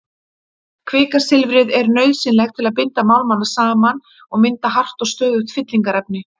Kvikasilfrið er nauðsynlegt til að binda málmana saman og mynda hart og stöðugt fyllingarefni.